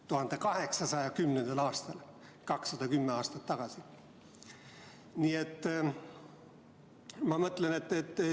1810. aastal, 210 aastat tagasi!